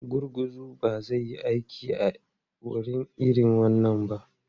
Gurguzu ba zai yi aiki a wuri irin wannan ba.